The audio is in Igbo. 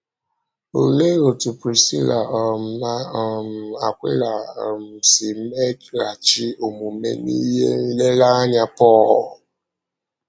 Olee otú Prisịla um na um Akwịla um si meghachi omume n’ịhè nleleanya Pọl?